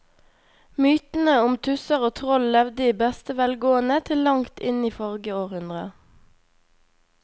Mytene om tusser og troll levde i beste velgående til langt inn i forrige århundre.